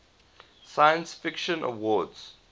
science fiction awards